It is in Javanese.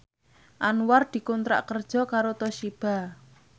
Anwar dikontrak kerja karo Toshiba